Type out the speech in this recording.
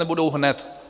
Nebudou hned.